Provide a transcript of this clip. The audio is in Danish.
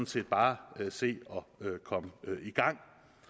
set bare se at komme i gang